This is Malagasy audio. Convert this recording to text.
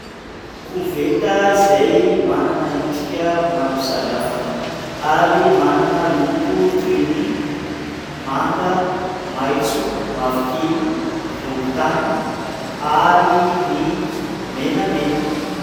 Koveta izay manana endrika maro samihafa ary manana loko toy ny : manga, maitso, mavokely, volontany, ary ny menamena.